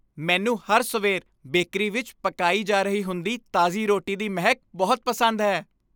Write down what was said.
ਮੈਨੂੰ ਹਰ ਸਵੇਰ ਬੇਕਰੀ ਵਿੱਚ ਪਕਾਈ ਜਾ ਰਹੀ ਹੁੰਦੀ ਤਾਜ਼ੀ ਰੋਟੀ ਦੀ ਮਹਿਕ ਬਹੁਤ ਪਸੰਦ ਹੈ।